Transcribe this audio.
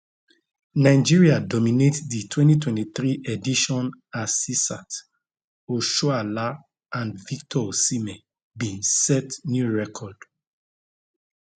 nigeria dominate di 2023 edition asisat oshoala and victor osimhen bin set new record